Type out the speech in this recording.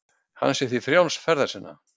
Hann sé því frjáls ferða sinna